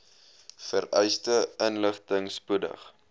vereiste inligting spoedig